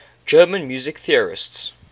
german music theorists